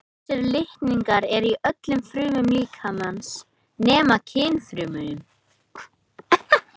Þessir litningar eru í öllum frumum líkamans nema kynfrumunum.